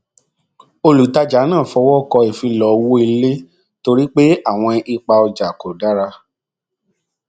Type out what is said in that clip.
olùtajà náà fọwọ kọ ìfilọ owó ilé torí pé àwọn ipa ojà kò dára